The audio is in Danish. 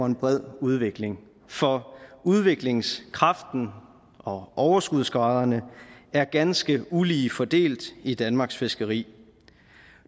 en bred udvikling for udviklingskraften og overskudsgraderne er ganske ulige fordelt i danmarks fiskeri